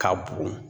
K'a bugun